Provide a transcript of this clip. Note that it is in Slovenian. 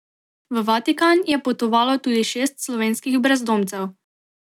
V Vatikan je potovalo tudi šest slovenskih brezdomcev.